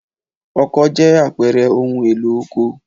Ọkọ́ jẹ́ àpẹẹrẹ ohun-èlò oko.